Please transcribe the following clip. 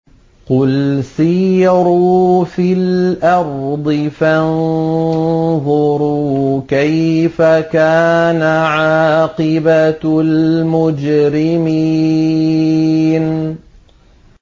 قُلْ سِيرُوا فِي الْأَرْضِ فَانظُرُوا كَيْفَ كَانَ عَاقِبَةُ الْمُجْرِمِينَ